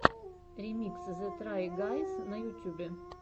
ремикс зе трай гайз на ютьюбе